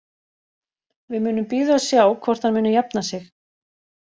Við munum bíða og sjá hvort hann muni jafna sig.